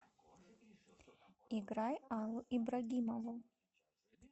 играй аллу ибрагимову